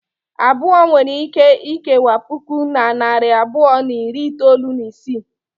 Abụọ nwere ike ikewa puku na narị abụọ na iri itolu na isii.